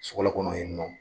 Sokala kɔnɔ ye nɔ.